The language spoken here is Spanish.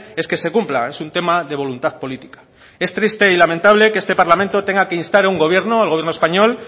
es que se cumpla es un tema de voluntad política es triste y lamentable que este parlamento tenga que instar a un gobierno al gobierno español